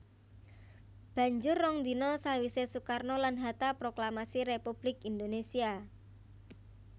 Banjur rong dina sawisé Soekarno lan Hatta proklamasi Républik Indonésia